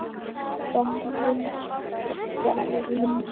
Starfið var lífið.